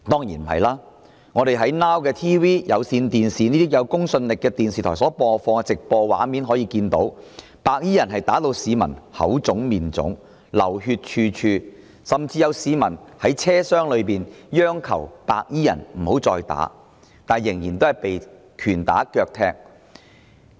從 Now TV 及有線電視等有公信力的電視台所播放的直播畫面可見，白衣人將市民打得"口腫面腫"、血流處處，甚至有市民在車廂內央求白衣人停手，但仍然被拳打腳踢。